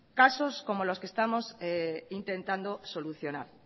casos como los que estamos intentando solucionar